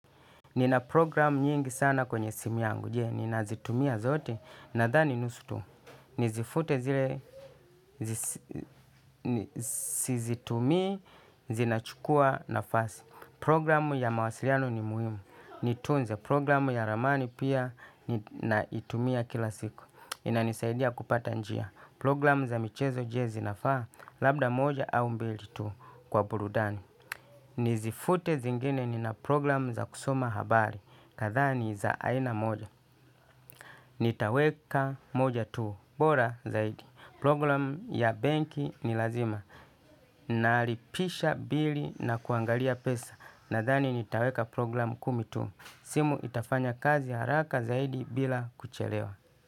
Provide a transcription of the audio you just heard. Nina programu nyingi sana kwenye simu yangu, je, ninazitumia zote, nadhani nusu tu. Nizifute zile, sizitumi, zinachukua nafasi. Programu ya mawasiliano ni muhimu, nitunze. Programu ya ramani pia, ninaitumia kila siku. Inanisaidia kupata njia. Programu za michezo je zinafaa, labda moja au mbili tu kwa burudani. Nizifute zingine nina programu za kusoma habari. Kadha ni za aina moja. Nitaweka moja tu. Bora zaidi Program ya banki ni lazima. Nalipisha bili na kuangalia pesa. Nadhani nitaweka program kumi tu. Simu itafanya kazi haraka zaidi bila kuchelewa.